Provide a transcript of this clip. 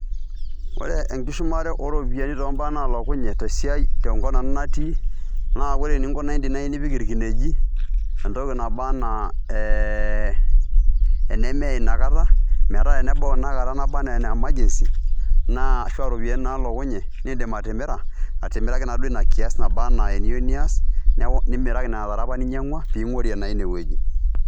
Ore enkishumare ooropiyiani too mbaa naalokunye tenkop nanu natii naa ore eninkunaki naai teniyieu nipik irkinejik entoki naba ena ee enemeye ina kata metaa te nebau ina kata naba enaa ene emergency naa ashu iropiyiani naalokunye niindim atimira, atimiraki naaduuo ina kiaas naba enaa eniyieu nias nimiraki nena tare apa ninyieng'ua piing'orie naaduo ine wueji.